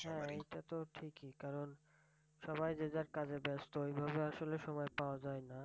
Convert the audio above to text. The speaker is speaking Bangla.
হ্যাঁ, এটাতো ঠিকই কারণ সবাই যে যার কাজে ব্যস্ত। এইভাবে আসলে সময় পাওয়া যায়না।